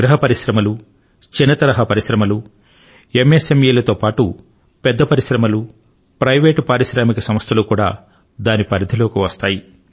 గృహ పరిశ్రమలు చిన్న తరహా పరిశ్రమలు ఎంఎస్ఎంఇల తో పాటు పెద్ద పరిశ్రమలు ప్రైవేట్ పారిశ్రామిక సంస్థలు కూడా దాని పరిధిలోకి వస్తాయి